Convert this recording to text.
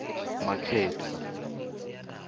makgetho